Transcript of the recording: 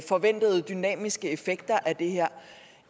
forventede dynamiske effekter af det her